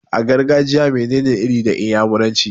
A gargajiya mene ne 'Iri' da iyamuranci?